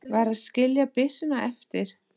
Varð að skilja byssuna eftir.